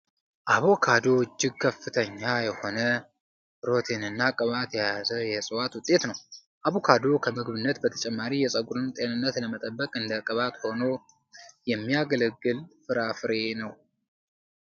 አቦካዶ እጅግ ከፍተኛ የሆነ ፕሮቲን እና ቅባት የያዘ የዕፅዋት ውጤት ነው። አቦካዶ ከምግብነት በተጨማሪ የፀጉርን ጤንነት ለመጠበቅ እንደ ቅባት ሁኖ የሚያገለግል ፍራፍሬ ነው።